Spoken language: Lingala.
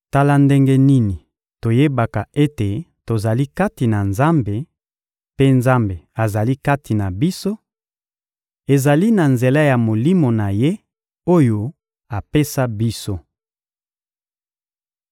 Tala ndenge nini toyebaka ete tozali kati na Nzambe, mpe Nzambe azali kati na biso: ezali na nzela ya Molimo na Ye, oyo apesa biso.